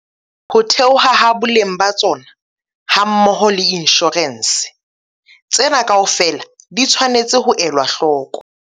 Ho theoha ha boleng ba tsona, hammoho le inshorense. Tsena kaofela di tshwanetse ho elwa hloko.